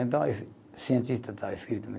Então esse cientista está escrito.